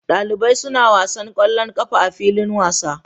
Dalibai suna wasa kwallon ƙafa a filin wasa